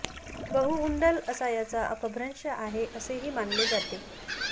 बहु उंडल असा याचा अपभ्रंश आहे असेही मानले जाते